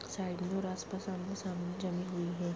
Side में और आस-पास आमने-सामने जमी हुई है।